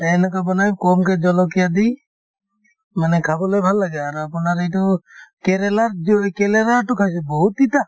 এনেকে বনাই কমকৈ জলকীয়া দি মানে খাবলৈ ভাল লাগে আৰু আপোনাৰ এইটো কেৰেলাৰ কেৰেলাতো খাইছো বহুত তিতা